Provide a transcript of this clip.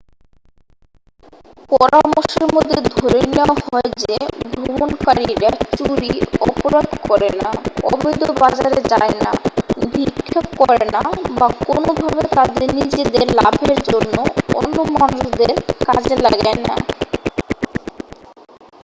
পরামর্শের মধ্যে ধরে নেওয়া হয় যে ভ্রমণকারীরা চুরি অপরাধ করে না অবৈধ বাজারে যায় না ভিক্ষা করে না বা কোনোভাবে তাদের নিজেদের লাভের জন্য অন্য মানুষদের কাজে লাগায় না